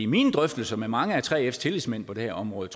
mine drøftelser med mange af 3fs tillidsmænd på det her område